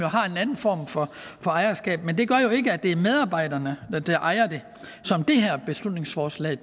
har en anden form for ejerskab men det gør jo ikke at det er medarbejderne der ejer det som det her beslutningsforslag